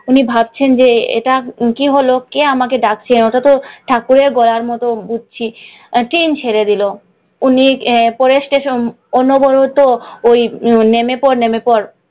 উনি ভাবছেন যে এটা কি হলো, কে আমাকে ডাকছে। আমি তো ঠাকুরের গলার মত বুঝছি। ট্রেন ছেড়ে দিলো, উনি পরের ষ্টেশনে অনবরত ওই নেমে পড় নেমে পড়,